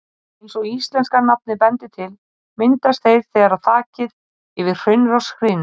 Eins og íslenska nafnið bendir til, myndast þeir þegar þakið yfir hraunrás hrynur.